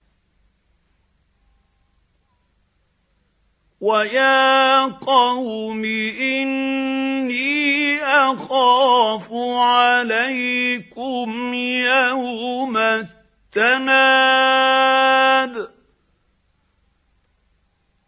وَيَا قَوْمِ إِنِّي أَخَافُ عَلَيْكُمْ يَوْمَ التَّنَادِ